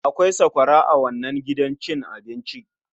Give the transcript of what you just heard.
Akwai sakwara a wannnan gidan cin abinci.